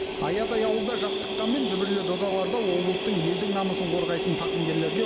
аядай ауылда жатыққанмен дүбірлі додаларда облыстың елдің намысын қорғайтын тақымгерлерге